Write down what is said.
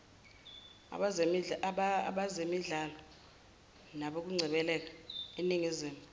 abezemidlalo nokungcebeleka eningizimu